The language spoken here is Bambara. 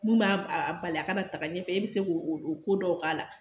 Mun b'a bali a kana ta ɲɛfɛ e be se k'o ko dɔw k'a la.